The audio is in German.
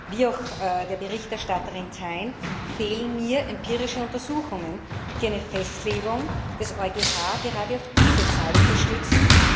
Wie auch der Berichterstatterin Thein fehlen mir empirische Untersuchungen, die eine Festlegung des EuGH gerade auf diese Zahl unterstützen.